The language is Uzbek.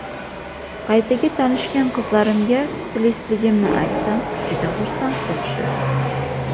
Qaytaga tanishgan qizlarimga stilistligimni aytsam, juda xursand bo‘lishadi.